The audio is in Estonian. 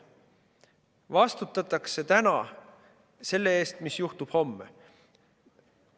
Täna vastutatakse selle eest, mis juhtub homme.